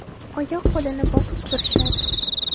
Oyoq-qo‘lini bosib turishadi.